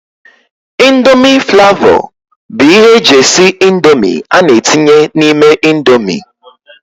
índomi flavó bụ ihe eji esị índomi ana etinye n' ime índomi.